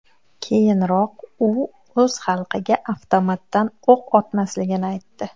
Keyinroq u o‘z xalqiga avtomatdan o‘q otmasligini aytdi .